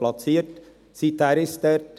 Seither ist es dort.